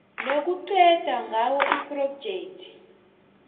nokuqeda ngawo iphrojekhthi